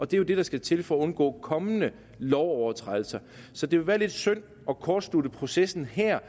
det er det der skal til for at undgå kommende overtrædelser så det vil være lidt synd at kortslutte processen her